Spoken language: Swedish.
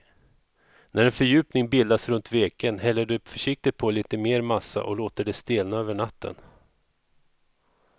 När en fördjupning bildats runt veken häller du försiktigt på lite mer massa och låter det stelna över natten.